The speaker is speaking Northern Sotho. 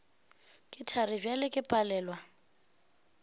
ke thari bjale ke palelwa